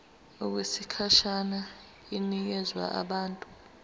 okwesikhashana inikezwa abantu